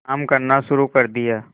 काम करना शुरू कर दिया